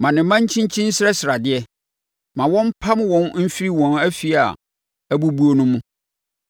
Ma ne mma nkyinkyini nsrɛsrɛ adeɛ; ma wɔmpam wɔn mfiri wɔn afie a abubuo no mu.